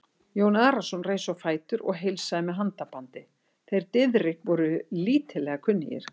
Jón Arason reis á fætur og heilsaði með handabandi, þeir Diðrik voru lítillega kunnugir.